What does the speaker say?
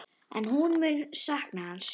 En hún mun sakna hans.